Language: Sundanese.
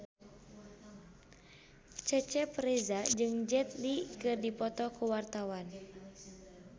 Cecep Reza jeung Jet Li keur dipoto ku wartawan